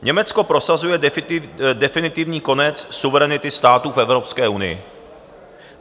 Německo prosazuje definitivní konec suverenity států v Evropské unii.